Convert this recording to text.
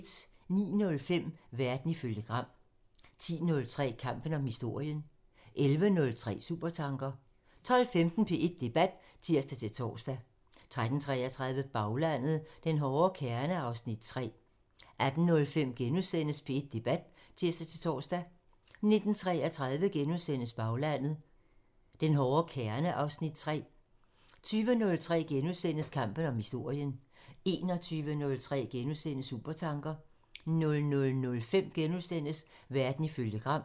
09:05: Verden ifølge Gram (tir) 10:03: Kampen om historien (tir) 11:03: Supertanker (tir) 12:15: P1 Debat (tir-tor) 13:33: Baglandet: Den hårde kerne (Afs. 3) 18:05: P1 Debat *(tir-tor) 19:33: Baglandet: Den hårde kerne (Afs. 3)* 20:03: Kampen om historien *(tir) 21:03: Supertanker *(tir) 00:05: Verden ifølge Gram *(tir)